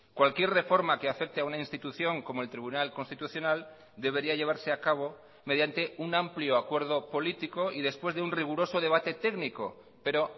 cualquier reforma que afecte a una institución como el tribunal constitucional debería llevarse a cabo mediante un amplio acuerdo político y después de un riguroso debate técnico pero